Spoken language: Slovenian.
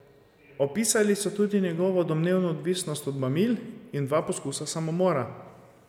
Opisali so tudi njegovo domnevno odvisnost od mamil in dva poskusa samomora.